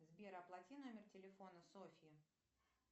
сбер оплати номер телефона софьи